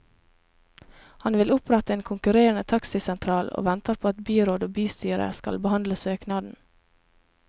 Han vil opprette en konkurrerende taxisentral og venter på at byråd og bystyre skal behandle søknaden.